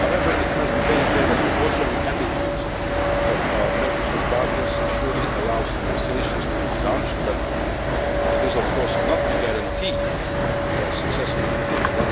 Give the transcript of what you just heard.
However, it must be very clear that the forthcoming attitude of our Mercosur partners surely allows negotiations to be relaunched, but is of course no guarantee of a successful conclusion.